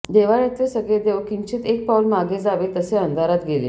देव्हाऱ्यातले सगळे देव किंचित एक पाऊल मागे जावे तसे अंधारात गेले